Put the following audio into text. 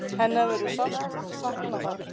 Hennar verður sárt saknað þar.